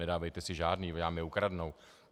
Nedávejte si žádný, oni vám je ukradnou.